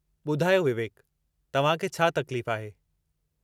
ॿुधायो विवेक, तव्हां खे छा तकलीफ़ आहे?